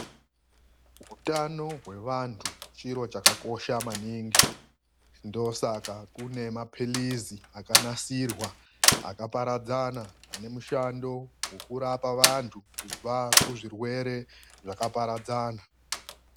Hutano kwevandu chiro chakakosha maningi ndo saka kune mapirizi akanasirwa akaparadzana ane mushando hwekurapa vandu pazvirwere zvakaparadzana.